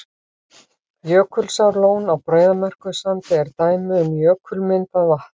Jökulsárlón á Breiðamerkursandi er dæmi um jökulmyndað vatn.